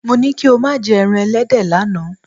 Mo ní kí o má jẹ́ ẹran ẹlẹ́dẹ̀ lánàá.